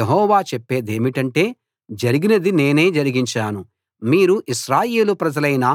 యెహోవా చెప్పేదేమిటంటే జరిగినది నేనే జరిగించాను మీరు ఇశ్రాయేలు ప్రజలైన